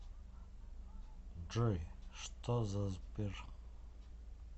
джой что за сбер